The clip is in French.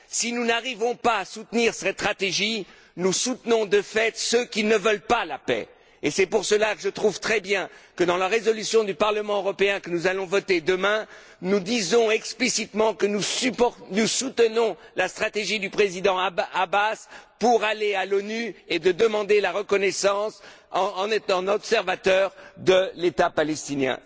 Si nous n'arrivons pas à soutenir cette stratégie, nous soutenons de fait ceux qui ne veulent pas la paix et c'est pourquoi je trouve très bien que, dans la résolution du Parlement européen que nous allons voter demain, nous disions explicitement que nous soutenons la stratégie du président Abbas d'aller à l'ONU et de demander la reconnaissance, en qualité d'État observateur, de l'État palestinien.